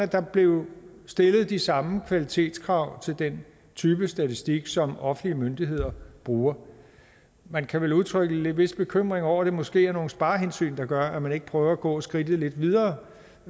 der blev stillet de samme kvalitetskrav til den type statistik som offentlige myndigheder bruger man kan vel udtrykke en vis bekymring over at det måske er nogle sparehensyn der gør at man ikke prøver at gå skridtet lidt videre